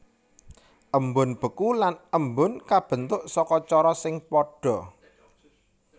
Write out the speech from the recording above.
Embun beku lan embun kabentuk saka cara sing padha